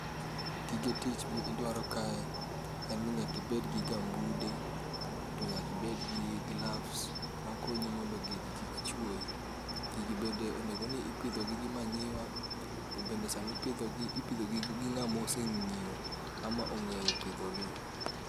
Gige tich midwaro kae en ni nyaka ibed gi gambude to nyaka ibed gi gloves makonyi mondo gigi kik chuoyi. Gigi bende onego ni ipidhogi gi manyiwa to bende samipidhogi ipidhogi gi ng'ama oseng'iyo ama ong'eyo pidhogi.